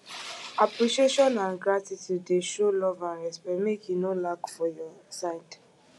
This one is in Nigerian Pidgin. appreciation and gratitude dey show love and respect make e no lack for your side